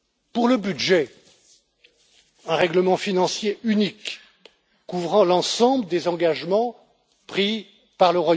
Pour le budget, un règlement financier unique couvrira l'ensemble des engagements pris par le Royaume Uni avec nous, et nous avec lui, en tant qu'État membre.